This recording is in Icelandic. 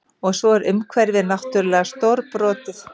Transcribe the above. Og svo er umhverfið náttúrlega stórbrotið